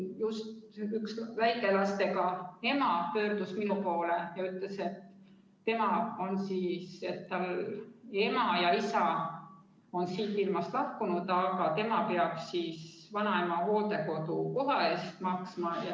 Just üks väikelastega ema pöördus minu poole ja ütles, et tal ema ja isa on siit ilmast lahkunud, nii et tema peaks vanaema hooldekodukoha eest maksma.